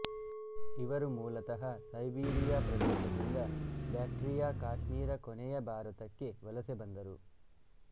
ಇವರು ಮೂಲತಃ ಸೈಬೀರಿಯಾ ಪ್ರದೇಶದಿಂದ ಬ್ಯಾಕ್ಟ್ರಿಯಾ ಕಾಶ್ಮೀರ ಕೊನೆಗೆ ಭಾರತಕ್ಕೆ ವಲಸೆ ಬಂದರು